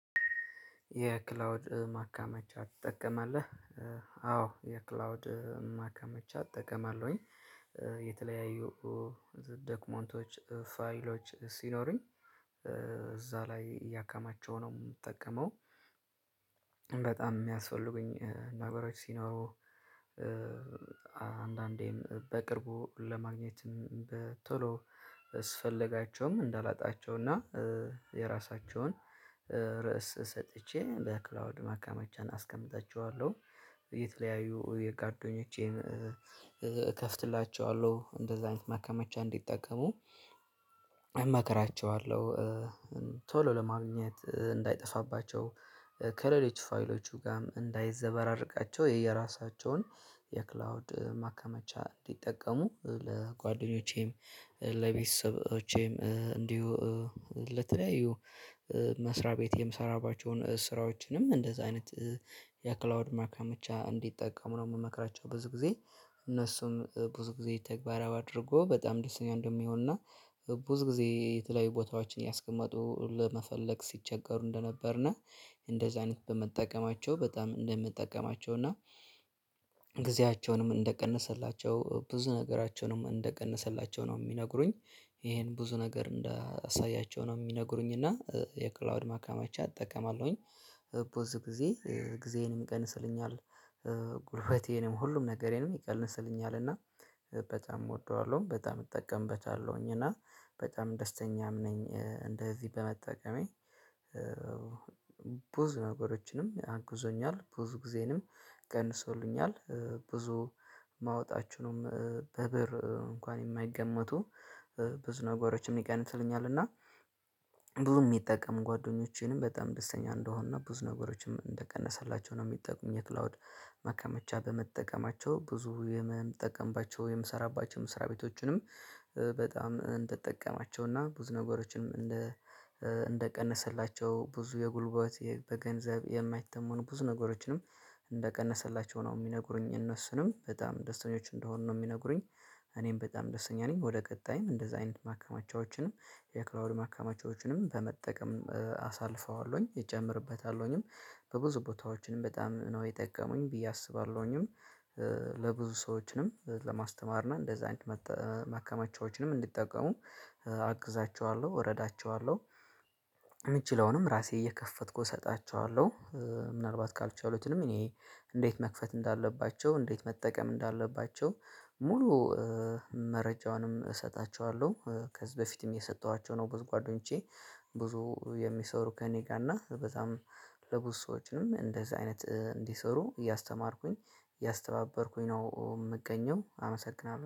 የክላውድ ማከማቻ ትጠቀማለህ? አዎ የክላውድ ማከማቻ እጠቀማለሁኝ የተለያዩ ዶክመንቶች ፋይሎች ሲኖሩኝ ላይ እያከማቸው ነው የምጠቀመው። በጣም የሚያስፈልጉኝ ነገሮች ሲኖሩ አንዳንዴም በቅርቡ ለማግኘትም በቶሎ ስፈልጋቸውም እንዳላጣቸው እና የራሳቸውን ርዕስ ሰጥቼ በክላውድ ማከማቻን አስቀምጣቸኋለሁ። የተለያዩ የጓደኞቼም እከፍትላቸዋለሁ እንደዛ አይነት ማከማቻ እንዲጠቀሙ እመክራቸዋለሁ። ለማግኘት እንዳይጠፋባቸው ከሌሎች ፋይሎቹ ጋርም እንዳይዘበራርቃቸው የየራሳቸውን የክላውድ ማከመቻ እንዲጠቀሙ ለጓደኞቼም ለቤተሰቦቼም እንዲሁ ለተለያዩ መስሪያ ቤት የምሰራባቸውን ስራዎችንም እንደዛ አይነት የክላውድ ማከማቻ እንዲጠቀሙ ነው የምመክራቸው። ብዙ ጊዜ እነሱም ብዙ ጊዜ ተግባራዊ አድርጎ በጣም ደስተኛ እንደሚሆንና ብዙ ጊዜ የተለያዩ ቦታዎችን እያስቀመጡ ለመፈለግ ሲቸገሩ እንደነበርና እንደዚህ አይነት በመጠቀማቸው በጣም እንደሚጠቅማቸው እና ጊዜያቸውንም እንደቀነሰላቸው ብዙ ነገራቸውንም እንደቀነሰላቸው ነው የሚነግሩኝ። ይሄን ብዙ ነገር እንዳሳያቸው ነው የሚነግሩኝ። እና የክላውድ ማካማቻ አጠቀማለሁኝ። ብዙ ጊዜ ጊዜዬንም ይቀንስልኛል። ጉልበቴንም ሁሉም ነገሬንም ይቀንስልኛል እና በጣም እወደዋለሁ በጣም እጠቀምበታለሁኝ እና በጣም ደስተኛም ነኝ እንደዚህ በመጠቀሜ። ብዙ ነገሮችንም አግዞኛል ብዙ ጊዜንም ቀንሶልኛል። ብዙ ማውጣችሁንም በብር እንኳን የማይገመቱ ብዙ ነገሮችም ይቀንስልኛል እና ብዙ የሚጠቀሙ ጓደኞቼንም በጣም ደስተኛ እንደሆኑና ብዙ ነገሮችም እንደቀነሰላቸው ነው የሚጠቁኝ። የክላውድ ማከማቻ በመጠቀማቸው ብዙ የምጠቀምባቸው የምሰራባቸው መስሪያ ቤቶቹንም በጣም እንደተጠቀማቸው እና ብዙ ነገሮችንም እንደ እንደቀነሰላቸው ብዙ የጉልበት በገንዘብ የማይተመኑ ብዙ ነገሮችንም እንደቀነሰላቸው ነው የሚነግሩኝ እነሱንም በጣም ደስተኞች እንደሆኑ ነው የሚነግሩኝ። እኔም በጣም ደስተኛ ነኝ። ወደ ቀጣይም እንደዛ አይነት ማከማቻዎችን የክላውድ ማከማቻዎችንም በመጠቀም አሳልፈዋለውኝ እጨምርበታለውኝም በብዙ ቦታዎችም በጣም ነው የጠቀሙኝ ብዬ አስባለሁኝ። ለብዙ ሰዎችንም ለማስተማር እና እንደዚህ አይነት መከማቻዎችንም እንዲጠቀሙ አግዛቸዋለሁ እረዳቸዋለሁ። እምችለውንም ራሴ እየከፈትኩ እሰጣቸዋለሁ። ምናልባት ካልቻሉትንም እኔ እንዴት መክፈት እንዳለባቸው እንዴት መጠቀም እንዳለባቸው ሙሉ መረጃውንም እሰጣቸዋለሁ። ከዚህ በፊትም እየሰጠኋቸው ነው። ብዙ ጓደኞቼ ብዙ የሚሰሩ ከእኔ ጋር እና በዛም ለብዙ ሰዎችም እንደዚህ አይነት እንዲሰሩ እያስተማርኩኝ እያስተባበርኩኝ ነው የምገኘው አመሰግናለሁ